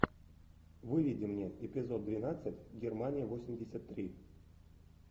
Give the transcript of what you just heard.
выведи мне эпизод двенадцать германия восемьдесят три